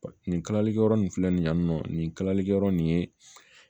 Nin kalalikɛyɔrɔ nin filɛ nin yan nɔ nin kalalikɛyɔrɔ nin ye